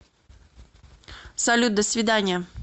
салют до свиданья